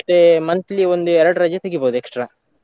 ಮತ್ತೇ monthly ಒಂದು ಎರಡು ರಜೆ ತೆಗಿಬೋದು extra .